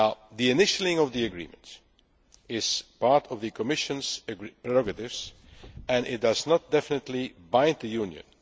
minds. The initialling of the agreement is part of the Commission's prerogatives and it does not definitely bind the